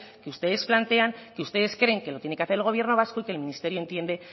que ustedes plantean que ustedes creen que lo tiene que hacer el gobierno vasco y que el ministerio entiende